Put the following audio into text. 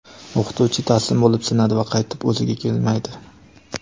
o‘qituvchi taslim bo‘lib sinadi va qaytib o‘ziga kelmaydi.